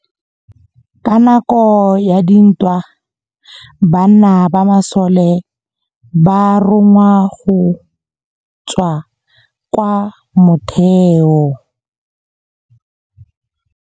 Ka nakô ya dintwa banna ba masole ba rongwa go tswa kwa mothêô.